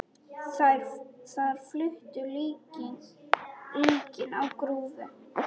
Þar flutu líkin á grúfu.